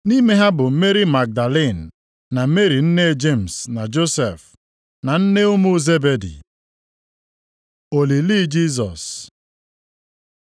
Nʼime ha bụ Meri Magdalin, na Meri nne Jemis na Josef, na nne ụmụ Zebedi. Olili Jisọs